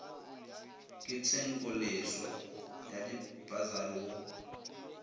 ke tshenkoleswa ya dipasari go